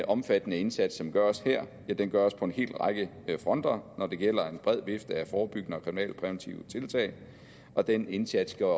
omfattende indsats som gøres her gøres på en helt række fronter det gælder en bred vifte af forebyggende og kriminalpræventive tiltag og den indsats gjorde